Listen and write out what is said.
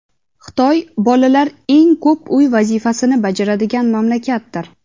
Xitoy bolalar eng ko‘p uy vazifasini bajaradigan mamlakatdir.